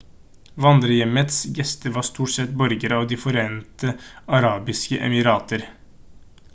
vandrerhjemmets gjester var stort sett borgere av de forente arabiske emirater